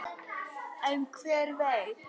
En hver veit?